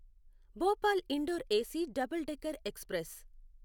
Bhopal Indore AC double decker express